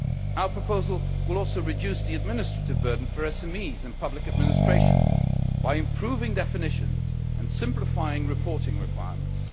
Our proposal will also reduce the administrative burden for SMEs and public administrations by improving definitions and simplifying reporting requirements.